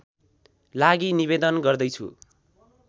लागि निवेदन गर्दैछु